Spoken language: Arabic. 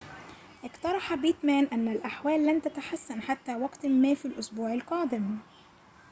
اقترح بيتمان أن الأحوال لن تتحسن حتى وقتٍ ما في الأسبوع القادم